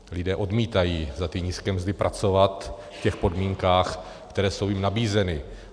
Lidé odmítají za ty nízké mzdy pracovat v těch podmínkách, které jsou jim nabízeny.